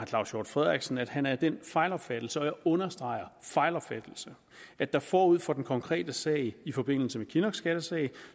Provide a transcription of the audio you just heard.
claus hjort frederiksen at han er af den fejlopfattelse og jeg understreger fejlopfattelse at der forud for den konkrete sag i forbindelse med kinnocks skattesag